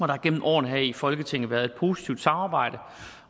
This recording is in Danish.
har gennem årene her i folketinget været et positivt samarbejde